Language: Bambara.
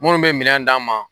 Munnu be minɛn d'an ma